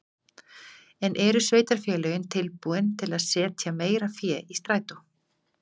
En eru sveitarfélögin tilbúin til að setja meira fé í strætó?